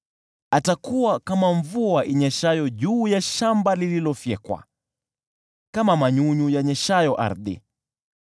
Atakuwa kama mvua inyeshayo juu ya shamba lililofyekwa, kama manyunyu yanyeshayo ardhi.